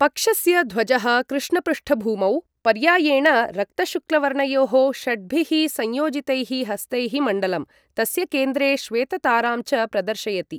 पक्षस्य ध्वजः कृष्णपृष्ठभूमौ, पर्यायेण रक्तशुक्ल वर्णयोः षड्भिः संयोजितैः हस्तैः मण्डलं, तस्य केन्द्रे श्वेततारां च प्रदर्शयति।